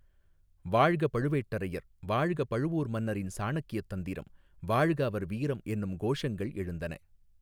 வாழ்க பழுவேட்டரையர் வாழ்க பழுவூர் மன்னரின் சாணக்ய தந்திரம் வாழ்க அவர் வீரம் என்னும் கோஷங்கள் எழுந்தன.